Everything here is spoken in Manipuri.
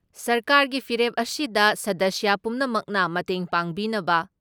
ꯁꯔꯀꯥꯔꯒꯤ ꯐꯤꯔꯦꯞ ꯑꯁꯤꯗ ꯁꯗꯁ꯭ꯌ ꯄꯨꯝꯅꯃꯛꯅ ꯃꯇꯦꯡ ꯄꯥꯡꯕꯤꯅꯕ